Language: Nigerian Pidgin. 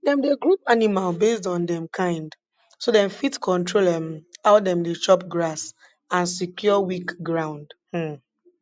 dem dey group animal based on dem kind so dem fit control um how dem dey chop grass and secure weak ground um